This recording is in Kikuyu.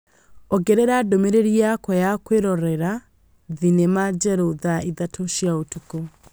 ongerera ndũmĩrĩri yakwa ya kwĩrorera thenema njerũ thaa ithatũ cia ũtukũ